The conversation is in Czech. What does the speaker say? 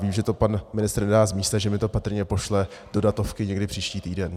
Vím, že to pan ministr nedá z místa, že mi to patrně pošle do datovky někdy příští týden.